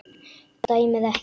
Dæmið ekki.